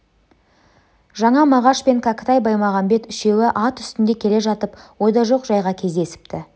жаңа мағаш пен кәкітай баймағамбет үшеуі ат үстінде келе жатып ойда жоқ жайға кездесіпті